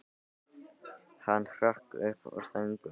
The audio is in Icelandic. Hann hrökk upp úr þönkum sínum.